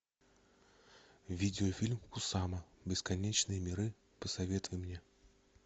видеофильм кусама бесконечные миры посоветуй мне